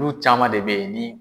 N'u caman de bɛ yen ni.